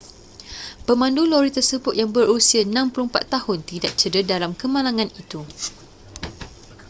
pemandu lori tersebut yang berusia 64 tahun tidak cedera dalam kemalangan itu